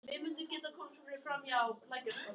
Mark Íslands gerði Kolbeinn Birgir Finnsson úr vítaspyrnu.